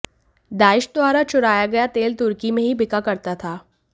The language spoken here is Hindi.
दाइश द्वारा चुराया गया तेल तुर्की में ही बिका करता था